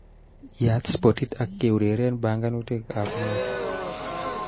Yaat spotit ak keureren banganutikab motu